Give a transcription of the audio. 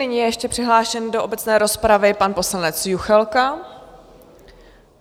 Nyní je ještě přihlášen do obecné rozpravy pan poslanec Juchelka.